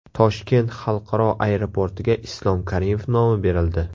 Toshkent xalqaro aeroportiga Islom Karimov nomi berildi.